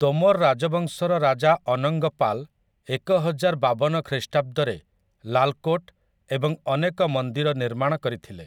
ତୋମର୍ ରାଜବଂଶର ରାଜା ଅନଙ୍ଗ ପାଲ୍ ଏକହଜାରବାବନ ଖ୍ରୀଷ୍ଟାବ୍ଦରେ ଲାଲ୍ କୋଟ୍ ଏବଂ ଅନେକ ମନ୍ଦିର ନିର୍ମାଣ କରିଥିଲେ ।